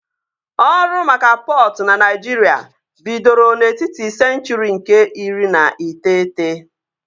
Ọrụ maka pọtụ na Naịjirịa bidoro n'etiti senchụri nke iri na iteghete